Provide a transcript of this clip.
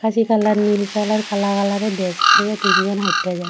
আকাশী কালার নীল কালার কালা কালারের ড্রেস পরে তিনজন হাইট্টা যা--